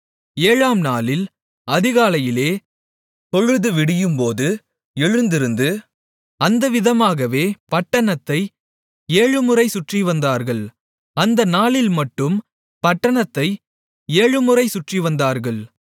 ஏழாம் நாளில் அதிகாலையிலே பொழுதுவிடியும்போது எழுந்திருந்து அந்தவிதமாகவே பட்டணத்தை ஏழுமுறை சுற்றிவந்தார்கள் அந்த நாளில் மட்டும் பட்டணத்தை ஏழுமுறை சுற்றிவந்தார்கள்